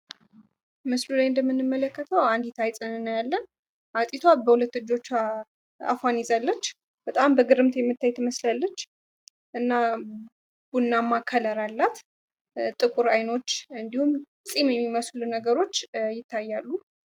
ምስሉ ላይ እንደምንመለከተው አንዲት አይጥን እናያለን አይጢቷ በሁለት እጆቿ አፏን ይዛለች በጣም በግርምት የምታይ ትመስላለች እና ቡናማ ከለር አላት ጥቁር አይኖች እንዲሁም ፂም የሚመስሉ ነገሮች ይታያሉ።